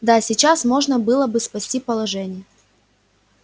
да сейчас можно было бы спасти положение